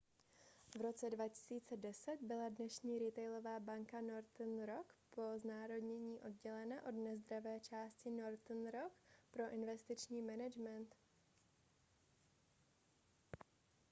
v roce 2010 byla dnešní retailová banka northern rock po znárodnění oddělena od nezdravé části northern rock pro investiční management